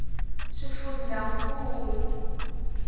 swifundzankulu